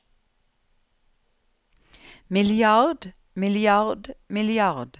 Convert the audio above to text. milliard milliard milliard